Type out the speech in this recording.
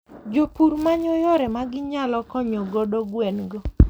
Jopur manyo yore magi nyalo koknyo godo gwen go.